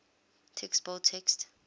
text bold text